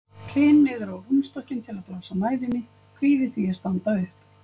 Hryn niður á rúmstokkinn til að blása mæðinni, kvíði því að standa upp.